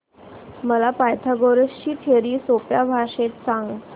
मला पायथागोरस ची थिअरी सोप्या भाषेत सांग